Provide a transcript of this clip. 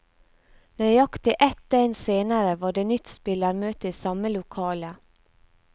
Nøyaktig et døgn senere var det nytt spillermøte i samme lokale.